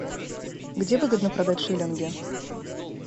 где выгодно продать шиллинги